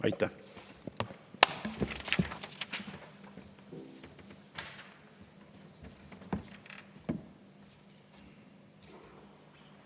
Aitäh!